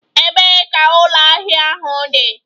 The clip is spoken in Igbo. Ebee ka ụlọ ahịa ahụ dị?